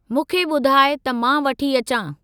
मूंखे ॿुधाइ त मां वठी अचां।